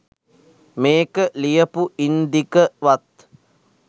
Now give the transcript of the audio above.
මේක ලියපු ඉන්දික වත්